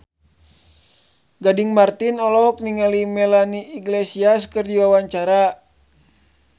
Gading Marten olohok ningali Melanie Iglesias keur diwawancara